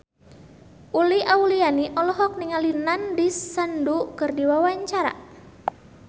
Uli Auliani olohok ningali Nandish Sandhu keur diwawancara